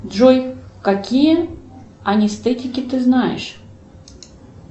джой какие анестетики ты знаешь